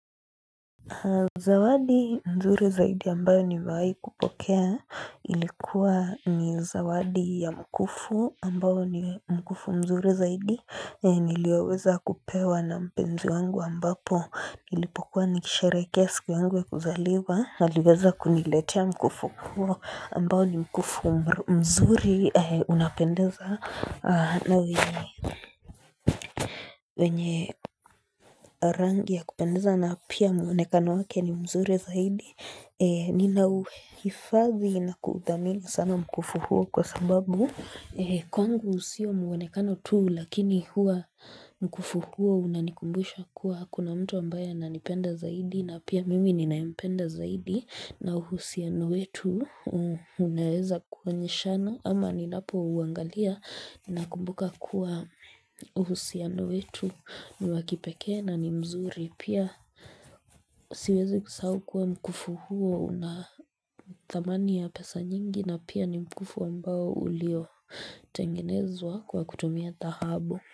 Zawadi nzuri zaidi ambayo nimewai kupokea ilikuwa ni zawadi ya mkufu ambao ni mkufu mzuri zaidi nilioweza kupewa na mpenzi wangu ambapo nilipokuwa nikisharehekea siku yangu ya kuzaliwa aliweza kuniletea mkufu huo ambao ni mkufu mzuri unapendeza na wenye wenye rangi ya kupendeza na pia muonekano wake ni mzuri zaidi. Nina uhifadhi na kudhamini sana mkufu huo kwa sababu. Kwangu sio muonekano tu lakini huwa mkufu huo unanikumbusha kuwa kuna mtu ambaye ananipenda zaidi. Na pia mimi ninampenda zaidi na uhusiano wetu unaweza kuonyenshana ama ninapo uangalia nakumbuka kuwa uhusiano wetu ni wa kipekee na ni mzuri. Pia siwezi kusahau kuwa mkufu huo una thamani ya pesa nyingi na pia ni mkufu ambao ulio tengenezwa kwa kutumia dhahabu.